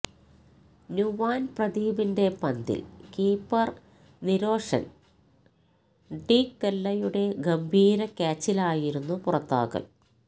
നുവാൻ പ്രദീപിന്റെ പന്തിൽ കീപ്പർ നിരോഷൻ ഡിക്വെല്ലയുടെ ഗംഭീര ക്യാച്ചിലായിരുന്നു പുറത്താകൽ